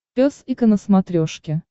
пес и ко на смотрешке